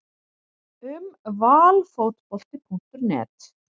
Um Valfotbolti.net